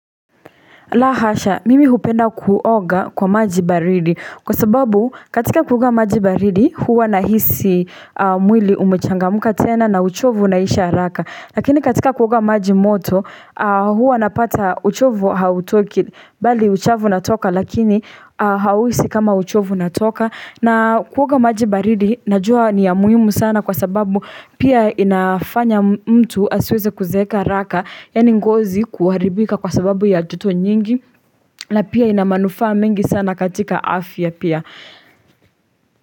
Lahasha, mimi hupenda kuoga kwa maji baridi kwa sababu katika kuoga maji baridi huwa nahisi mwili umechangamka tena na uchovu unaisha haraka. Lakini katika kuoga maji moto huwa napata uchovu hautoki bali uchafu unatoka lakini hausi kama uchovu unatoka. Na kuoga majibaridi, najua ni ya muhimu sana kwa sababu pia inafanya mtu asiweze kuzeeka haraka Yani ngozi kuharibika kwa sababu ya joto nyingi na pia inamanufa mengi sana katika afya pia.